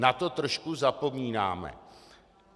Na to trošku zapomínáme.